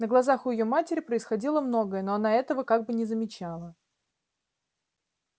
на глазах у её матери происходило многое но она этого как бы не замечала